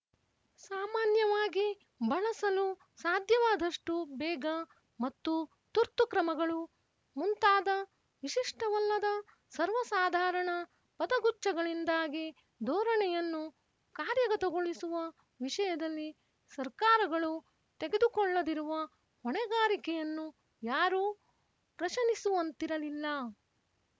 ಸಾಮಾನ್ಯವಾಗಿ ಬಳಸಲು ಸಾಧ್ಯವಾದಷ್ಟು ಬೇಗ ಮತ್ತು ತುರ್ತು ಕ್ರಮಗಳು ಮುಂತಾದ ವಿಶಿಷ್ಟವಲ್ಲದ ಸರ್ವಸಾಧಾರಣ ಪದಗುಚ್ಛಗಳಿಂದಾಗಿ ಧೋರಣೆಯನ್ನು ಕಾರ್ಯಗತಗೊಳಿಸುವ ವಿಶಯದಲ್ಲಿ ಸರ್ಕಾರಗಳು ತೆಗೆದುಕೊಳ್ಳದಿರುವ ಹೊಣೆಗಾರಿಕೆಯನ್ನು ಯಾರೂ ಪ್ರಶನಿಸುವಂತಿರಲಿಲ್ಲ